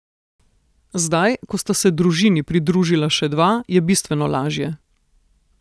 Zdaj, ko sta se družini pridružila še dva, je bistveno lažje.